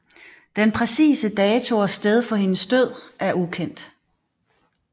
Den præcise dato og sted for hendes død er ukendt